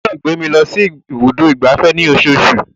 Ó gbọ́dọ̀ gbé máa mi lọ sí ibùdó ìgbafẹ́ ní osoosù.